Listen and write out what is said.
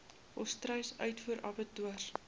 volstruis uitvoer abattoirs